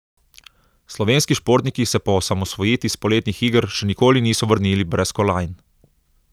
Slovenski športniki se po osamosvojitvi s poletnih iger še nikoli niso vrnili brez kolajn.